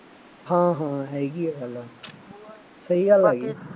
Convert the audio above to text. ਹਾਂ ਹਾਂ ਹੈਗੀ ਆ ਗੱਲਬਾਤ, ਸਹੀ ਗੱਲ ਆ ਜੀ,